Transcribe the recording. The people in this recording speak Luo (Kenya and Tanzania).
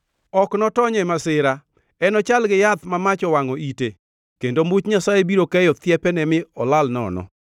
Ok notony e masira, enochal gi yath ma mach owangʼo ite, kendo much Nyasaye biro keyo thiepene mi olal nono.